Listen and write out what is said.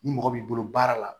Ni mɔgɔ b'i bolo baara la